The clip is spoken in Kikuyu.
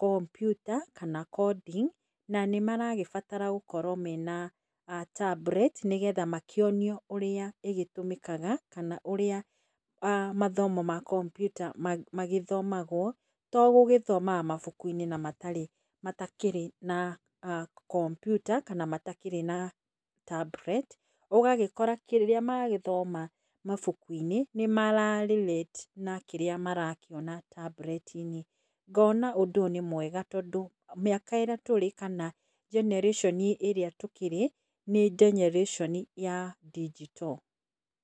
kompyuta kana coding na nĩmaragĩbatara gũkorwo mena tablet nĩgetha makĩonio ũrĩa ĩgĩtũmĩkaga kana ũrĩa mathomo ma kompyuta magĩthomagwo togũgĩthomaga mabuku-inĩ na matakĩrĩ na kompyuta kana matakĩrĩ na cs]tablet. Ũgagĩkora kĩrĩa magĩthoma mabuku-inĩ nĩ mara relate na kĩrĩa marakĩona tablet-inĩ. Ngona ũndũ ũyũ nĩ mwega tondũ mĩaka ĩrĩa tũrĩ kana generation ĩrĩa tũkĩrĩ nĩ generation ya digital.